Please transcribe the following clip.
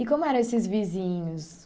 E como eram esses vizinhos?